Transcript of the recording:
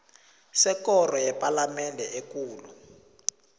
sekoro yepalamende ekulu